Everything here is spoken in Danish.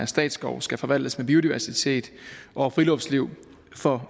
at statsskove skal forvaltes med biodiversitet og friluftsliv for